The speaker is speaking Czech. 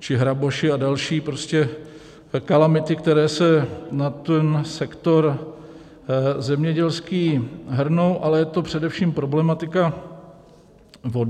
či hraboši a další, prostě kalamity, které se na ten sektor zemědělský hrnou, ale je to především problematika vody.